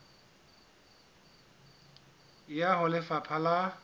e ya ho lefapha la